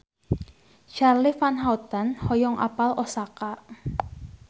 Charly Van Houten hoyong apal Osaka